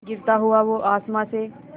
गिरता हुआ वो आसमां से